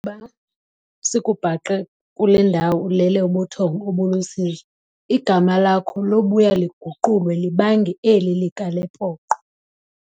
ba sikubhaqe kule ndawo ulele ubuthongo obulusizi, igama lakho lobuya liguqulwe libange eli likaLepoqo."